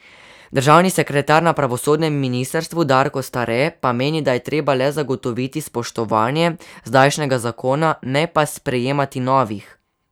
Državni sekretar na pravosodnem ministrstvu Darko Stare pa meni, da je treba le zagotoviti spoštovanje zdajšnjega zakona, ne pa sprejemati novih.